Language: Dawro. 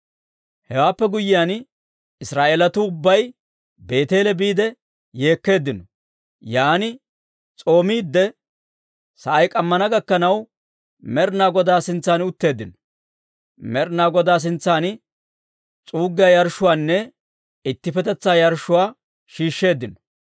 Hewaappe guyyiyaan, Israa'eelatuu ubbay Beeteele biide yeekkeeddino; yaan s'oomiidde sa'ay k'ammana gakkanaw, Med'inaa Godaa sintsan utteeddino; Med'inaa Godaa sintsan s'uuggiyaa yarshshuwaanne ittippetetsaa yarshshuwaa shiishsheeddino.